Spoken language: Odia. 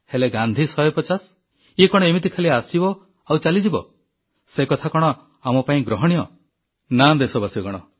ହେଲେ ଗାନ୍ଧୀ 150 ଇଏ କଣ ଏମିତି ଖାଲି ଆସିବ ଆଉ ଚାଲିଯିବ ସେକଥା କଣ ଆମ ପାଇଁ ଗ୍ରହଣୀୟ ନା ଦେଶବାସୀଗଣ